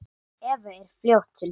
Eva er fljót til svars.